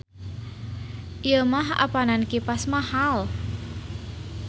Ieu mah apanan kipas mahal.